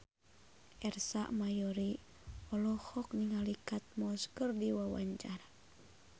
Ersa Mayori olohok ningali Kate Moss keur diwawancara